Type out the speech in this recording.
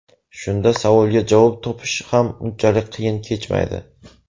Shunda savolga javob topish ham unchalik qiyin kechmaydi.